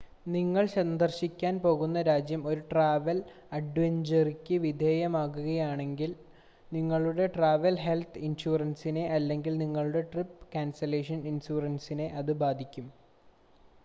നിങ്ങൾ സന്ദർശിക്കാൻ പോകുന്ന രാജ്യം ഒരു ട്രാവൽ അഡ്വൈസറിക്ക് വിധേയമാകുകയാണെങ്കിൽ നിങ്ങളുടെ ട്രാവൽ ഹെൽത്ത് ഇൻഷുറൻസിനെ അല്ലെങ്കിൽ നിങ്ങളുടെ ട്രിപ് ക്യാൻസലേഷൻ ഇൻഷുറൻസിനെ അത് ബാധിക്കും